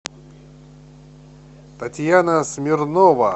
татьяна смирнова